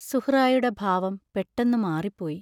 സുഹ്റായുടെ ഭാവം പെട്ടെന്നു മാറിപ്പോയി.